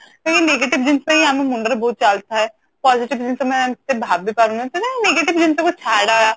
ସେଇ negative ଜିନିଷ ହିଁ ଆମ ମୁଣ୍ଡରେ ବହୁତ ଚାଲୁଥାଏ ତ ଆଉ କିଛି ଜିନିଷ ବି ଆମେ ଏମତି ଆମେ ଭାବି ପାରୁନୁ ତେବେ negative ଜିନିଷକୁ ଛାଡ ୟାର